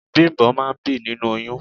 Bimbo máa ń bí nínú oyún.